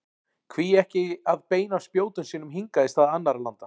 Hví ekki að beina spjótum sínum hingað í stað annarra landa?